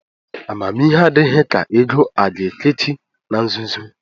Amamihe adịghị ka ego a ga-ekechi na nzuzo.